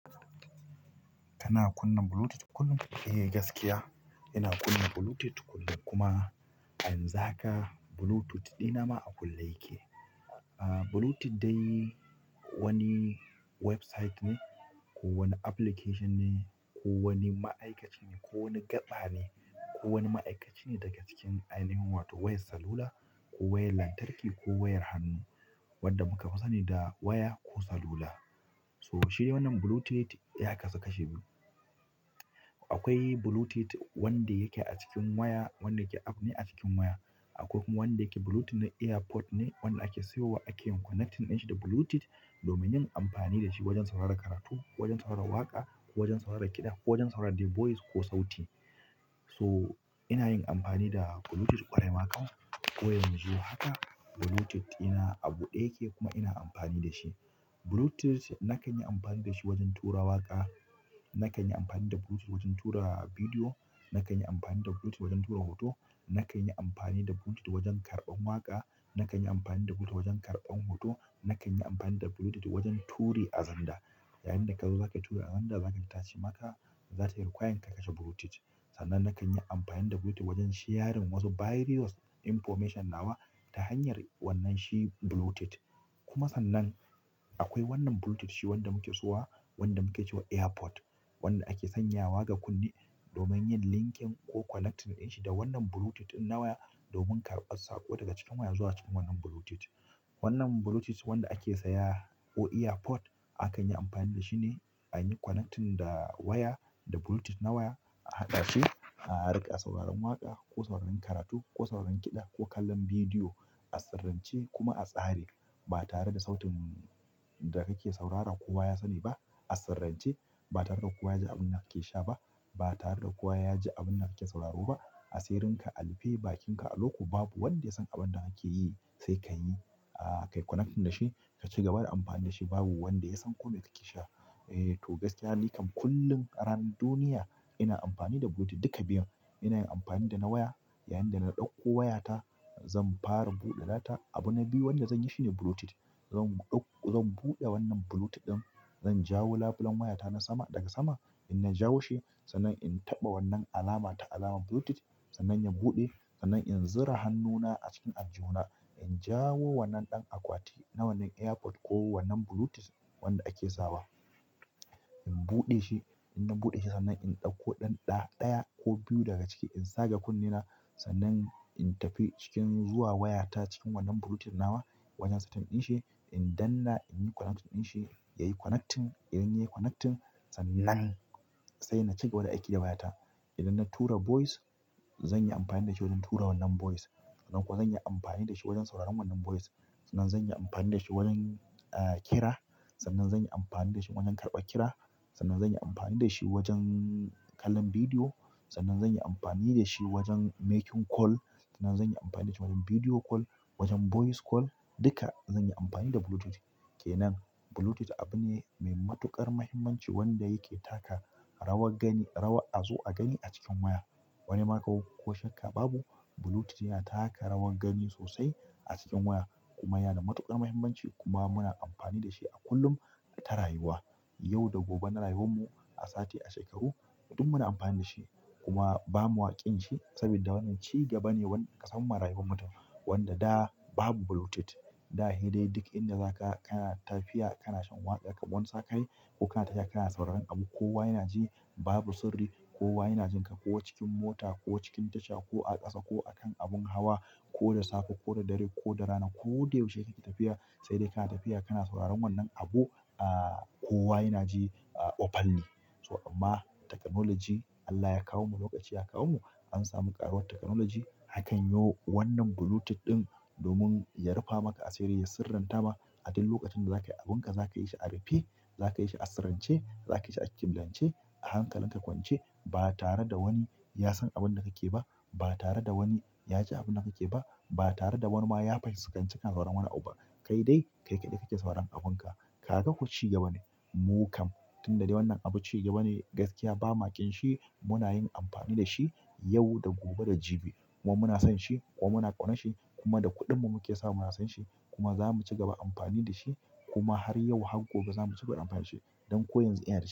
Kana kunna Bluetooth kullum? Eh gaskiya, ina kunna Bluetooth kullum kuma a yanzu haka Bluetooth ɗina ma a kulle yake. Ah, Bluetooth dai wani website ne, ko wani application ne, ko wani ma'aikaci ne, ko wani gaɓa ne, ko wani ma'aikaci ne daga cikin ainihin wato wayar salula, ko wayar lantarki, ko wayar hannu, wadda kuka fi sani da waya ko salula. So shi ne wannan Bluetooth ya kasu kashi biyu. Akwai Bluetooth wanda yake a cikin waya, wanda yake app ne a cikin waya. Akwai kuma wanda yake Bluetooth na earpod ne, wanda ake siyowa ake yin connecting ɗin shi da Bluetooth domin yin amfani da shi wajen sauraron karatu, wajen sauraron waƙa, ko wajen sauraron kiɗa, ko wajen sauraron dai voice ko sauti. So ina yin amfani da Bluetooth ƙwarai ma kam ko yanzu haka Bluetooth ina abuɗe yake kuma ina amfani da shi. Bluetooth nakan yi amfani da shi wajen tura waƙa, nakan yi amfani da Bluetooth wajen tura bidiyo, nakan yi amfani da Bluetooth wajen tura hoto, nakan yi amfani da Bluetooth wajen karɓan waƙa, nakan yi amfani da Bluetooth wajen karɓan hoto, nakan yi amfani da Bluetooth wajen turi a zanda. Yayin da kazo zaka yi turi a Xender za tayi requiring ka kashe Bluetooth. Sannan nakan yi amfani da Bluetooth wajen shiyarin wasu various information nawa ta hanyar wannan shi Bluetooth. Kuma sannan akwai wannan Bluetooth shi wanda muke siyowa, wanda muke cewa earpod. Wanda ake sanyawa ga kunne domin yin linking ko connecting ɗin shi da wannan Bluetooth ɗin na waya domin karɓar saƙo daga cikin waya zuwa cikin wannan Bluetooth. Wannan Bluetooth wanda ake saya ko earpod, akan yi amfani da shi ne a yi connecting da waya da Bluetooth na waya a haɗa shi, a riƙa sauraron waƙa, ko sauraron karatu, ko sauraron kiɗa, ko kallon bidiyo a sirrance kuma a tsare. Ba tare da sautin da kake saurara kowa ya sani ba. A sirrance ba tare da kowa ya ji abun da kake sha ba. Ba tare da kowa ya ji abun da kake sauraro ba. A sirrinka, a rufe bakinka alokum babu wanda ya san abun da kake yi sai kai. Ah, ka yi connecting da shi ka cigaba da amfani da shi babu wanda ya san kome kake sha. Eh to, gaskiya ni kam kullum a ranar duniya ina amfani da ko duka biyun ina yin amfani da na waya yayin da na ɗauko waya ta zan fara buɗe data abu na biyu wanda zan yi shine Bluetooth. Zan ɗauko, zan buɗe wannan Bluetooth ɗin, zan jawo labulen wayata na sama daga sama. In na jawo shi sannan in taɓa wannan alama ta alamar Bluetooth sannan ya buɗe sannan in zura hannuna a cikin aljuhuna. In jawo wannan ɗan akwati na wannan earpod ko wannan Bluetooth wanda ake sawa. In buɗe shi, in na buɗe shi sannan in ɗauko ɗan ɗa ɗaya ko biyu daga ciki in zaga kunnena sannan in tafi cikin zuwa wayata cikin wannan Bluetooth nawa wajen setting ɗin shi. In danna in yi connecting ɗin shi yayi connecting. Idan yayi connecting sannan sai na cigaba da aiki da wayata. Idan na tura voice zan yi amfani da shi wajen tura wannan voice. Kuma zan yi amfani da shi wajen sauraron wannan voice. Sannan zan yi amfani da shi wajen, ah, kira. Sannan zan yi amfani da shi wajen karɓa kira. Sannan zan yi amfani da shi wajen kallon bidiyo. Sannan zan yi amfani da shi wajen making call. Sannan zan yi amfani da shi wajen video call, wajen voice call. Duka zan yi amfani da Bluetooth. Kenan Bluetooth abu ne mai matuƙar muhimmanci wanda yake taka rawar gani, rawa a zo a gani a cikin waya. Wani maƙo ko shakka babu Bluetooth yana taka rawar gani sosai a cikin waya kuma yana da matuƙar mahimmanci kuma muna amfani da shi a kullum ta rayuwa. Yau da gobe na rayuwar mu, a sati, a shekaru, duk muna amfani da shi. Kuma ba mu a ƙin shi sabida wannan cigaba ne wanda ƙasanmu marayu ne mata wanda da babu Bluetooth. Da he dai duk inda za ka, kana tafiya kana shan waƙar wansakai ko kana tafiya kana sauraron abu kowa yana ji babu sirri. Kowa yana jin ka ko cikin mota ko cikin tasha ko a ƙasa ko akan abun hawa ko da safe ko da dare ko rana ko da yaushe kake tafiya sai dai kana tafiya kana sauraron wannan abun. Ah, kowa yana ji, ah, open ne. So amma technology Allah ya kawo mu lokaci ya kawo mu an samu ƙararrawar technology akan yiwu wannan Bluetooth ɗin domin ya rufa maka a asiri ya sirrantama. A duk lokacin da zaka yi abunka zaka yi shi a rufe, zaka yi shi a sirrance, zaka yi shi a kimlance, a hankalin ka kwance ba tare da wani ya san abun da kake ba. Ba tare da wani ya ji abun da kake ba. Ba tare da wani ma ya fahi aikaci kana sauraron wani abu ba. Kai dai kaikaɗai kake sauran abunka. Kaga ko ci gaba ne. Mu kam tun da dai wannan abu cigaba ne gaskiya bama ƙin shi muna yin amfani da shi yau da gobe da jibi. Kuma muna son shi kuma muna ƙaunar shi kuma da kuɗin mu muke sawa muna siyan shi. Kuma zamu cigaba da amfani da shi kuma har yau har gobe zamu cigaba da amfani da shi dan ko yanzu ina da shi.